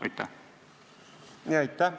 Aitäh!